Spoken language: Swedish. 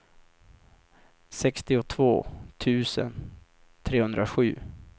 sextiotvå tusen trehundrasju